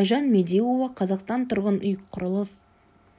айжан медеуова қазақстан тұрғын үй құрылыс